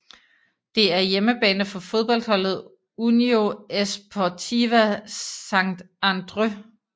Det er hjemmebane for fodboldholdet Unió Esportiva Sant Andreu